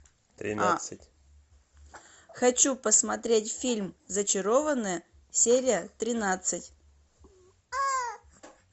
хочу посмотреть фильм зачарованные серия тринадцать